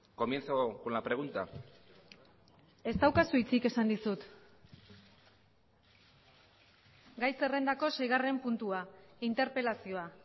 comienzo con la pregunta ez daukazu hitzik esan dizut gai zerrendako seigarren puntua interpelazioa